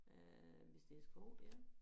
Øh hvis det sko dér